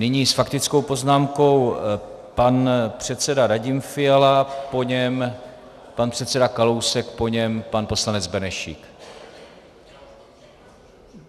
Nyní s faktickou poznámkou pan předseda Radim Fiala, po něm pan předseda Kalousek, po něm pan poslanec Benešík.